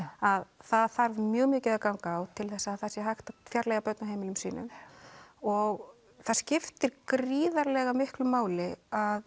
að það þarf mjög mikið að ganga á til þess að það sé hægt að fjarlægja börn af heimili sínu og það skiptir gríðarlega miklu máli að